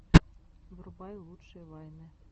врубай лучшие вайны